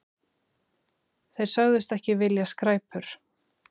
Þeir sögðust ekki vilja skræpur.